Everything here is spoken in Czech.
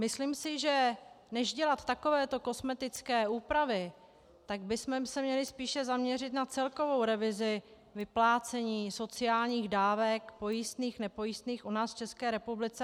Myslím si, že než dělat takovéto kosmetické úpravy, tak bychom se měli spíše zaměřit na celkovou revizi vyplácení sociálních dávek, pojistných, nepojistných, u nás v České republice.